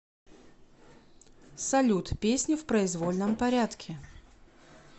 салют песни в произвольном порядке